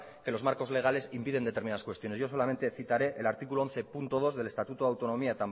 que los marcos legales impiden determinadas cuestiones yo solamente citaré el artículo once punto dos del estatuto de autonomía